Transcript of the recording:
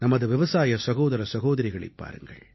நமது விவசாய சகோதர சகோதரிகளைப் பாருங்கள்